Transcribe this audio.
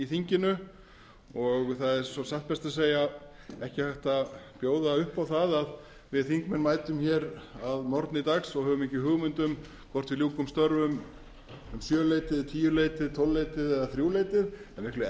dögum og það er svo satt best að segja ekki hægt að bjóða upp á það að við þingmenn mætum að morgni dags og höfum ekki hugmynd um hvort við ljúkum störfum um sjöleytið tíuleytið tólfleytið eða þrjúleytið það er miklu